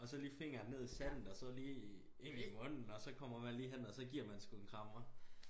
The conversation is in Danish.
Og så lige fingeren ned i sandet og så lige ind i munden og så kommer man lige hen og så giver man sgu en krammer